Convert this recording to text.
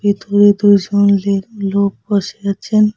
ভেতরে দুজন লেক লোক বসে আছেন।